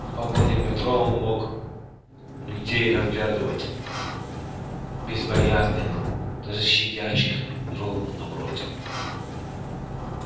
в вагоне метро он мог людей разглядывать безбоязненно даже сидящих ровно напротив